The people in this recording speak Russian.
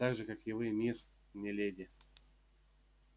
так же как и вы мисс не леди